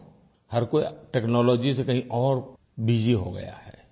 क्यों हर कोई टेक्नोलॉजी से कहीं और बसी हो गया है